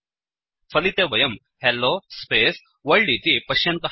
फलिते वयं hello space world इति पश्यन्तः स्मः